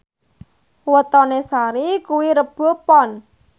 wetone Sari kuwi Rebo Pon